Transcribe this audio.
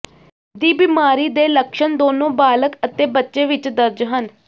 ਦੀ ਬਿਮਾਰੀ ਦੇ ਲੱਛਣ ਦੋਨੋ ਬਾਲਗ ਅਤੇ ਬੱਚੇ ਵਿਚ ਦਰਜ ਹਨ